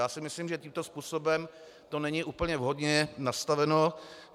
Já si myslím, že tímto způsobem to není úplně vhodně nastaveno.